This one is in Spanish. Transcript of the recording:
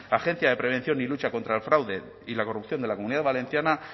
agencia de prevención y lucha contra el fraude y la corrupción de la comunidad valenciana